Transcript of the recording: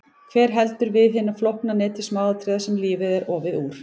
Hver heldur við hinu flókna neti smáatriða sem lífið er ofið úr?